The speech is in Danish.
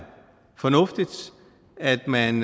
fornuftigt at man